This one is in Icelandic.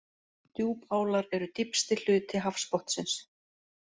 Djúpálar eru dýpsti hluti hafsbotnsins.